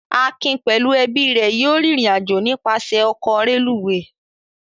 Akin pẹ̀lú ẹbí rẹ̀ yóò rìnrìn-àjò nípasẹ̀ ọkọ̀ rélùúwè.